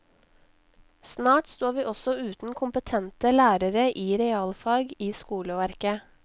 Snart står vi også uten kompetente lærere i realfag i skoleverket.